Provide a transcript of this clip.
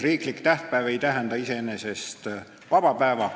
Riiklik tähtpäev ei tähenda iseenesest vaba päeva.